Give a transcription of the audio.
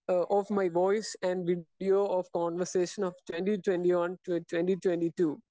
Speaker 2 uh of my voice and video of conversation of of twenty twenty on twenty twenty to.